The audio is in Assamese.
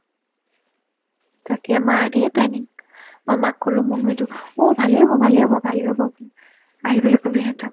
তাকে মাইৰ ধেৰ্ planning মই মাক ক'লো মনু এইটো অ' ভালে হ'ব ভালে হ'ব ভালে হ'ব আহিবলে ক'বি সেহেনতক